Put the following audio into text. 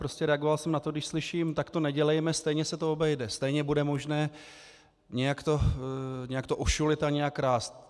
Prostě reagoval jsem na to, když slyším "tak to nedělejme, stejně se to obejde, stejně bude možné nějak to ošulit a nějak krást".